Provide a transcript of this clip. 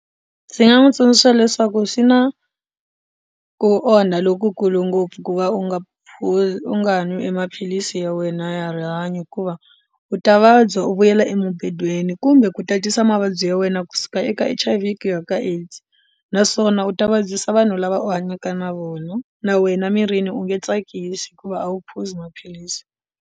Ndzi nga n'wi tsundzuxa leswaku swi na ku onha lokukulu ngopfu ku va u nga phuzi u nga ha nwi emaphilisi ya wena ya rihanyo hikuva u ta vabya u vuyela embedweni kumbe ku tatisa mavabyi ya wena kusuka eka H_I_V ku ya ka AIDS naswona u ta vabyisa vanhu lava hanyaka na vona na wena mirini u nge tsakisi hikuva a wu phuzi maphilisi.